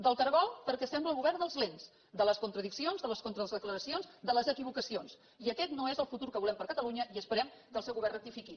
del cargol perquè sembla el govern dels lents de les contradiccions de les contradeclaracions de les equivocacions i aquest no és el futur que volem per a catalunya i esperem que el seu govern rectifiqui